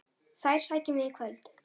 Þær sækjum við í kvöld.